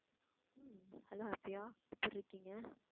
hello Afiya எப்படி இருக்கீங்க?